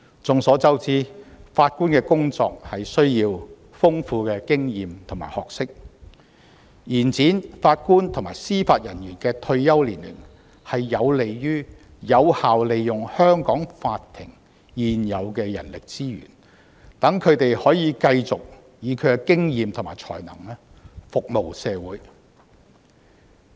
眾所周知，法官的工作需要豐富的經驗和學識，延展法官及司法人員的退休年齡有利於有效利用香港法庭現有的人力資源，讓他們可以繼續以他們的經驗和才能服務社會。